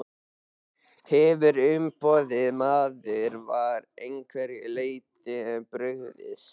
Hefur umboðsmaður að einhverju leyti brugðist?